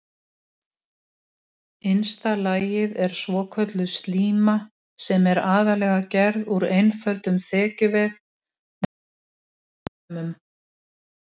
Halldór segir að liðið ætli að festa sig í sessi í Landsbankadeildinni að þessu sinni.